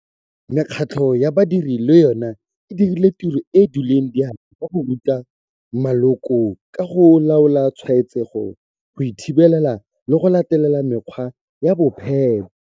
Mekgatlho ya badiri le yone e dirile tiro e e duleng diatla ka go ruta maloko ka ga go laola tshwaetsego, go e thibela le go latela mekgwa ya bophepa.